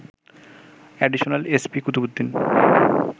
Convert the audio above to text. additional SP Qutubuddin